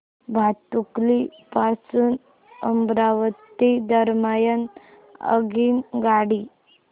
भातुकली पासून अमरावती दरम्यान आगगाडी